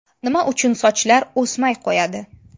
Nima uchun sochlar o‘smay qo‘yadi?.